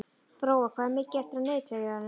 Brói, hvað er mikið eftir af niðurteljaranum?